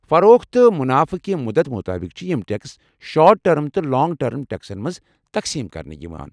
فروخت تہٕ منافع کہِ مُدت مطٲبق چھِ یم ٹٮ۪کس شارٹ ٹٔرم تہٕ لانٛگ ٹٔرم ٹٮ۪کسن منٛز تقسیٖم كرنہٕ یوان ۔